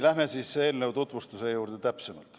Läheme eelnõu täpsema tutvustuse juurde.